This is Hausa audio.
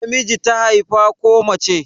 Namiji ta haifa ko mace?